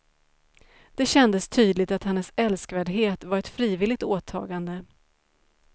Det kändes tydligt att hennes älskvärdhet var ett frivilligt åtagande.